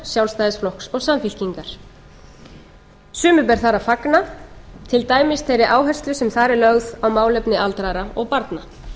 sjálfstæðisflokks og samfylkingar sumu ber þar að fagna til dæmis þeirri áherslu sem þar er lögð á málefni aldraðra og barna